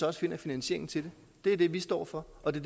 også finder finansieringen til det det er det vi står for og det